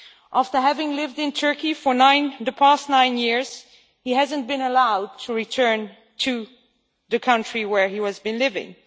After having lived in Turkey for the past nine years, he has not been allowed to return to the country where he has been living.